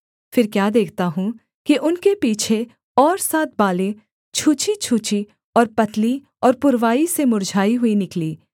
फिर क्या देखता हूँ कि उनके पीछे और सात बालें छूछीछूछी और पतली और पुरवाई से मुर्झाई हुई निकलीं